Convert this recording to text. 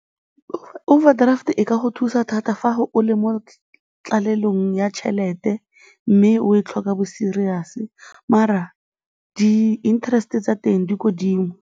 Overdraft e ka go thusa thata fa o le mo tlalelong ya tšhelete mme o e tlhoka bo-serious-e mara di-interest-e tsa teng di ko 'dimo.